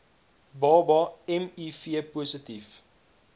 baba miv positief